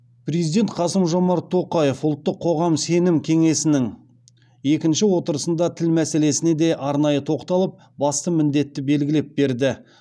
президент қасым жомарт тоқаев ұлттық қоғам сенім кеңесінің екінші отырысында тіл мәселесіне де арнайы тоқталып басты міндетті белгілеп берді